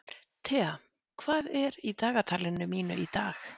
Thea, hvað er í dagatalinu mínu í dag?